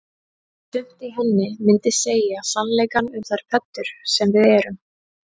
Sumt í henni myndi segja sannleikann um þær pöddur sem við erum